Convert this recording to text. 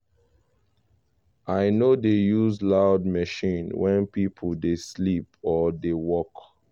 i no dey use loud machines when pipo dey sleep or dey work.